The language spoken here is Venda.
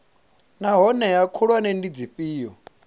naa hoea khulwane ndi dzifhio